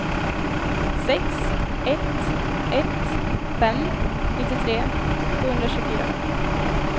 sex ett ett fem nittiotre sjuhundratjugofyra